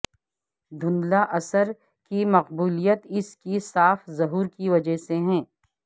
دھندلا اثر کی مقبولیت اس کی صاف ظہور کی وجہ سے ہے